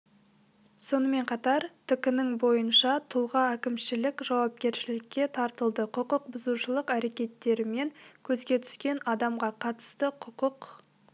сонымен қатар тк-нің бойынша тұлға әкімшілік жауапкершілікке тартылды құқық бұзушылық әрекеттерімен көзге түскен адамға қатысты құқық